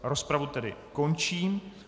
Rozpravu tedy končím.